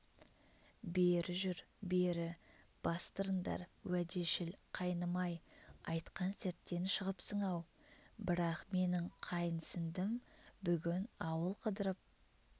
бері жүр бері бастырындар уәдешіл қайным-ай айтқан серттен шығыпсың-ау бірақ менің қайынсіндім бүгін ауыл қыдырып